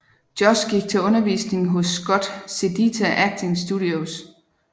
Josh gik til undervisning hos Scott Sedita Acting Studios